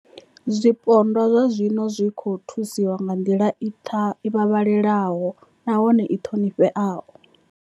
Zwipondwa zwa zwino zwi khou thusiwa nga nḓila i vhavhalelaho nahone i ṱhonifheaho.